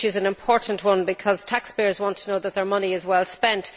It is an important one, because taxpayers want to know that their money is well spent.